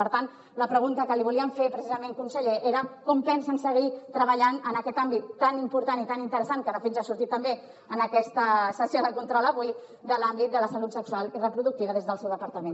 per tant la pregunta que li volíem fer precisament conseller era com pensen seguir treballant en aquest àmbit tan important i tan interessant que de fet ja ha sortit també en aquesta sessió de control avui de l’àmbit de la salut sexual i reproductiva des del seu departament